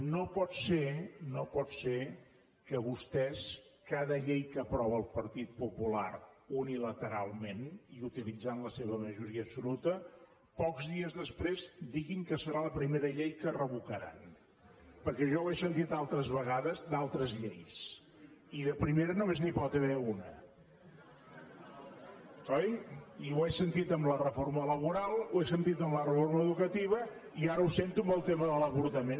no pot ser no pot ser que vostès cada llei que aprova el partit popular unilateralment i utilitzant la seva majoria absoluta pocs dies després diguin que serà la primera llei que revocaran perquè jo ja ho he sentit altres vegades d’altres lleis i de primera només n’hi pot haver una oi i ho he sentit amb la reforma laboral ho he sentit amb la reforma educativa i ara ho sento amb el tema de l’avortament